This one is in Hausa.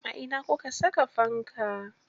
A ina kuka saka fanka.